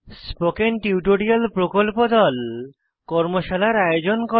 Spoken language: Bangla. স্পোকেন টিউটোরিয়াল প্রকল্প দল কর্মশালার আয়োজন করে